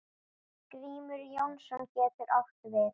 Grímur Jónsson getur átt við